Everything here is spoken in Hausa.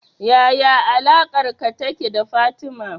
Yaya alaƙarka take da Fatima